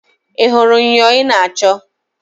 Ị hụrụ myọ ị na-achọ?